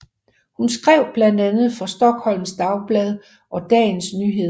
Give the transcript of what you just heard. Hun skrev blandt andet for Stockholms Dagblad og Dagens Nyheter